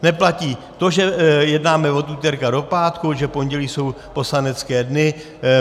Neplatí to, že jednáme od úterka do pátku, že pondělí jsou poslanecké dny.